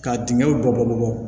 Ka dingɛw bɔ bɔlɔlɔ bɔ